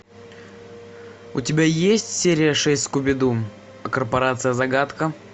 у тебя есть серия шесть скуби ду корпорация загадка